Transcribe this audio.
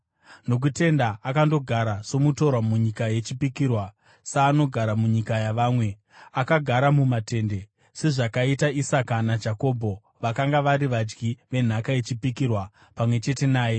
Nokutenda akandogara somutorwa munyika yechipikirwa, saanogara munyika yavamwe; akagara mumatende, sezvakaita Isaka naJakobho, vakanga vari vadyi venhaka yechipikirwa pamwe chete naye.